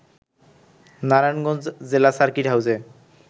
নারায়ণগঞ্জ জেলা সার্কিট হাউজে